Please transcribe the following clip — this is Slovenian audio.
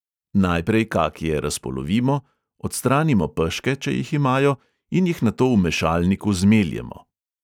Najprej kakije razpolovimo, odstranimo peške, če jih imajo, in jih nato v mešalniku zmeljemo.